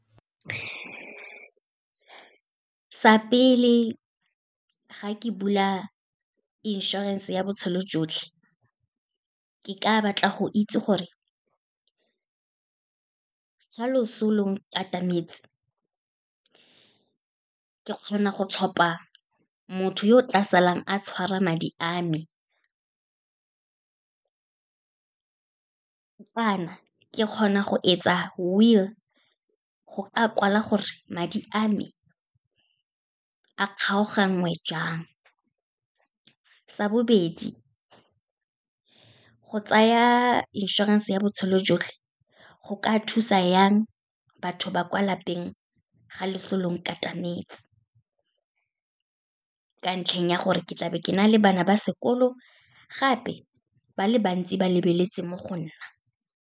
Sa pele, ga ke bula inšorense ya botshelo jotlhe, ke ka batla go itse gore, ga loso lo nkatametse, ke kgona go tlhopha motho yo o tla salang a tshwara madi a me, kana ke kgona go etsa will, go a kwala gore madi a me a kgaoganngwe jang. Sa bobedi, go tsaya inšorense ya botshelo jotlhe go ka thusa yang batho ba kwa lapeng, ga leso lo nkatametse, ka ntlheng ya gore ke tlabe ke na le bana ba sekolo, gape ba le bantsi ba lebeletse mo go nna.